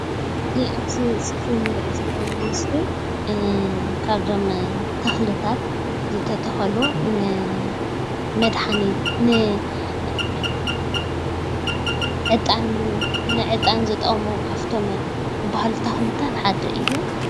እዙይ ኣብዚ ስክሪን እንርእዮ ዘለና ምስሊ ካብዞም ተክልታት ዝተተከሉ ንመድሓኒት ንዕጣን ዝጠቅሙ ካብቶም ዝባህሉ ተክልታት ሓደ እዩ።